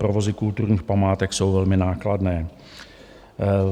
Provozy kulturních památek jsou velmi nákladné.